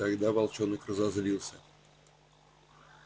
тогда волчонок разозлился